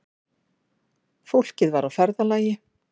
Fólkið var á ferðalagi